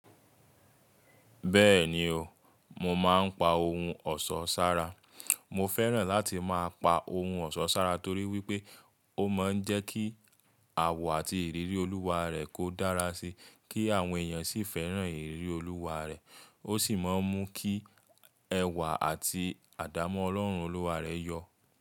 Bẹ́ẹ̀ni o, mo máa ń pa ohun ọ̀ṣọ́ ṣára. Mo fẹ́ràn láti máa pa ohun ọ̀ṣọ́ ṣára torí wípé ó máa ń jẹ́ kí àwọ̀ àti ìrírí Olúwa rẹ kó dára síi, kí àwọn èèyàn sì fẹ́ràn ìrírí Olúwa rẹ̀. Ó sì máa ń mú kí ẹwà àti àdámọ́ Ọlọ́run Olúwa rẹ yọ.